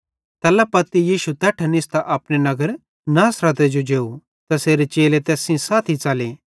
तैल्ला पत्ती यीशु तैट्ठां निस्तां अपने नगर नासरते जो जेव तैसेरे चेले तैस सेइं साथी च़ले